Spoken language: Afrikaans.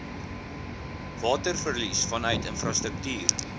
waterverlies vanuit infrastruktuur